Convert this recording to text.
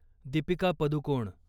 Deepika Padukone